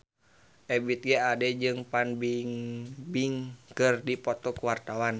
Ebith G. Ade jeung Fan Bingbing keur dipoto ku wartawan